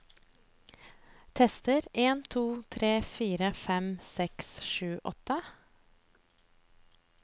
Tester en to tre fire fem seks sju åtte